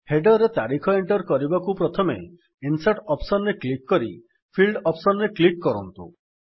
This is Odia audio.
ହେଡର୍ ରେ ତାରିଖ ଏଣ୍ଟର୍ କରିବାକୁ ପ୍ରଥମେ ଇନସର୍ଟ ଅପ୍ସନ୍ ରେ କ୍ଲିକ୍ କରି ଫିଲ୍ଡସ୍ ଅପ୍ସନ୍ ରେ କ୍ଲିକ୍ କରନ୍ତୁ